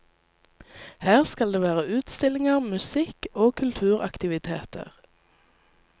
Her skal det være utstillinger, musikk og kulturaktiviteter.